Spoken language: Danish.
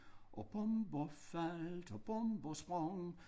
Og bomber faldt og bomber sprang